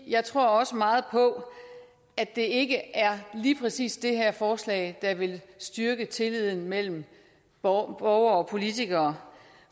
jeg tror også meget på at det ikke lige præcis er det her forslag der vil styrke tilliden mellem borgere og politikere